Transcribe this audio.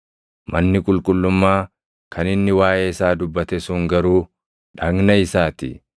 Manni qulqullummaa kan inni waaʼee isaa dubbate sun garuu dhagna isaa ti.